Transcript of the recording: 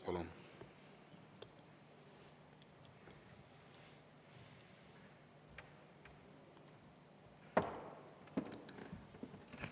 Palun!